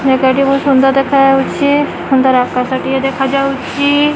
ମେଘଟି ବହୁତ ସୁନ୍ଦର ଦେଖାଯାଉଚି ସୁନ୍ଦର ଆକାଶ ଟିଏ ଦେଖାଯାଉଚି।